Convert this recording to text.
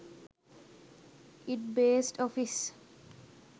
it based office